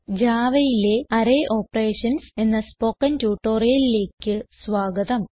javaയിലെ array operations എന്ന spoken ട്യൂട്ടോറിയലിലേക്ക് സ്വാഗതം